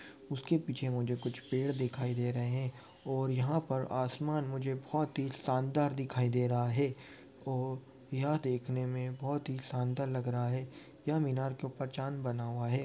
उसके पीछे मुझे कुछ पेड़ दिखाई दे रहे है और यहां पर आसमान मुझे बहुत ही शानदार दिखाई दे रहा है ओ यह देखने मे बहुत ही शानदार लग रहा है यह मीनार के ऊपर चांद बना हुआ है।